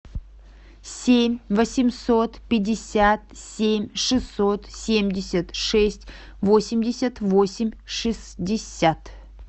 семь восемьсот пятьдесят семь шестьсот семьдесят шесть восемьдесят восемь шестьдесят